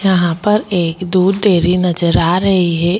यहाँ पर एक दूध डेरी नज़र आ रही है एक गुलाबी रंग --